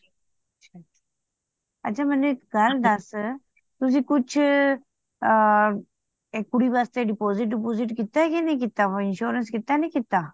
ਅੱਛਾ ਮੈਨੂੰ ਇੱਕ ਗੱਲ ਦੱਸ ਤੁਸੀ ਕੁੱਛ ਅ ਕੁੜੀ ਬਾਰੇ deposit dip site ਕੀਤਾ ਕੇ ਨਹੀਂ ਕੀਤਾ ਹੋਯਾ insurance ਕੀਤਾ ਨਹੀ ਕੀਤਾ